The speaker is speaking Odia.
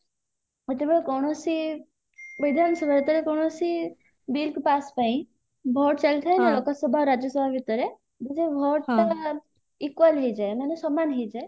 ଯେତେବେଳେ କୌଣସି ବିଧାନ ସଭା ଯେତେବେଳେ କୌଣସି bill pass ପାଇଁ vote ଚାଲିଥାଏ ନା ଲୋକସଭା ଆଉ ରାଜ୍ୟସଭା ଭିତରେ vote ଟା equal ହେଇଯାଏ ମାନେ ସମାନ ହେଇଯାଏ